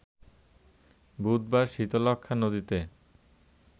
বুধবার শীতলক্ষ্যা নদীতে